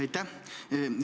Aitäh!